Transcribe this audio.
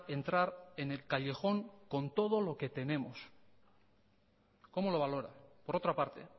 entrar en el callejón con todo lo que tenemos cómo lo valora por otra parte